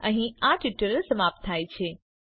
અહીં આ ટ્યુટોરીયલ સમાપ્ત થાય છે